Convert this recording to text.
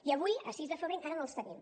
i avui a sis de febrer encara no els tenim